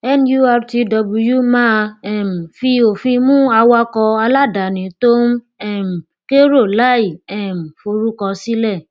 nurtw máa um fi òfin mú awakọ aláàdáni tó ń um kérò láì um forúkọ sílẹ